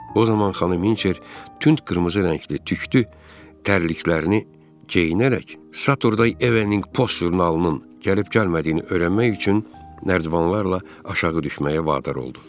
O zaman xanım Hinçer tünd qırmızı rəngli tüklü tərkliklərini geyinərək Satury Evening Post jurnalının gəlib-gəlmədiyini öyrənmək üçün Nərdvanlarla aşağı düşməyə vadar oldu.